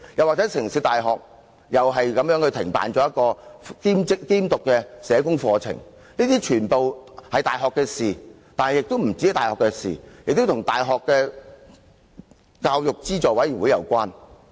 香港城市大學同樣停辦了一個兼讀社工課程，這些全是大學的事，而且不單是大學的事，亦與教資會有關。